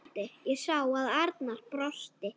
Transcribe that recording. Ég sá að Arnar brosti.